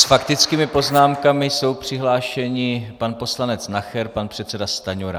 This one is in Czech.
S faktickými poznámkami jsou přihlášeni pan poslanec Nacher, pan předseda Stanjura.